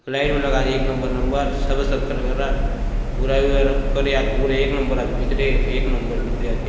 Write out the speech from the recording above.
लाइट मन लगा दिये एक नंबर नंबर सबे सब खर खर रा भूरा और करिया आत भूरा एक नंबर आचे भीतरे एक नंबर भीतरे आचे।